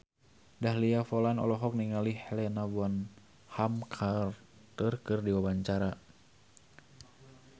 Dahlia Poland olohok ningali Helena Bonham Carter keur diwawancara